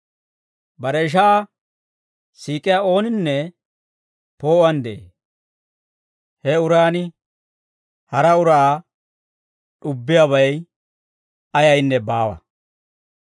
Bare ishaa siik'iyaa ooninne poo'uwaan de'ee; he uran hara uraa d'ubbiyaabay ayaynne baawa.